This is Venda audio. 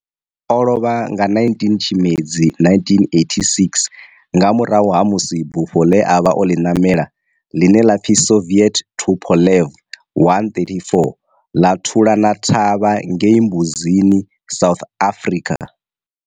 O lovha nga 19 Tshimedzi 1986 nga murahu ha musi bufho le a vha o li namela, line la pfi Soviet Tupolev 134 la thulana thavha ngei Mbuzini, South Africa.